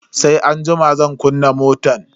Sai anjima zan kunna motan.